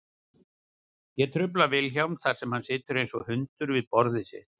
Ég trufla Vilhjálm þar sem hann situr einsog hundur við borðið sitt.